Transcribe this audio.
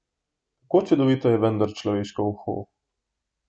Kako čudovito je vendar človeško uho!